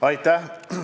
Aitäh!